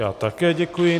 Já také děkuji.